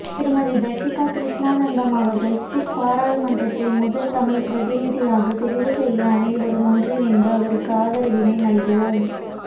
திருமதி தர்சிகா கிருஷ்ணானந்தம் அவர்களை சுவிஸ் பாராளுமன்றத்திற்கு முதல் தமிழ் பிரதிநியாக தெரிவுசெய்ய அனைவரும் ஒன்றிணைந்து அவருக்கு ஆதரவினை நல்குவோம்